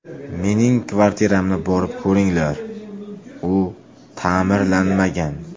Mening kvartiramni borib ko‘ringlar, u ta’mirlanmagan.